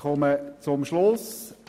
Ich komme zum Schluss.